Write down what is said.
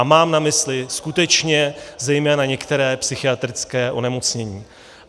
A mám na mysli skutečně zejména některá psychiatrická onemocnění.